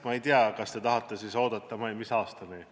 Ma ei tea, kas te tahate siis oodata – mis aastani?